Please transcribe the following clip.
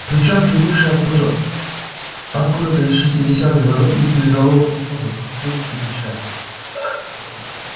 причём прибывший оттуда откуда-то из шестидесятых годов из передового колхоза поступь ильича